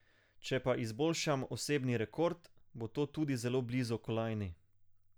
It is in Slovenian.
Če pa izboljšam osebni rekord, bo to tudi zelo blizu kolajni.